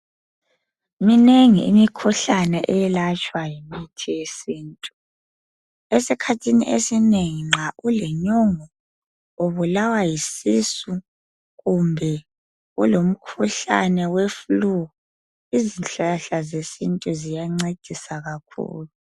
Minengi imikhuhlane eyelatshwa yimithi yesintu esikhathini esinengi nxa ulenyongo ubulawa yisisu kumbe ulomkhuhlane weflu izihlahla zesintu ziyancedisa kakhulu.